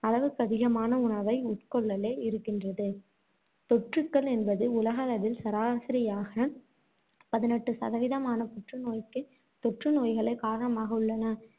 அளவுக்கதிகமான உணவை உட்கொள்ளலே இருக்கின்றது. தொற்றுக்கள் என்பது உலகளவில் சராசரியாக பதினெட்டு சதவீதமான புற்றுநோய்க்கு தொற்றுநோய்களே காரணமாக உள்ளன.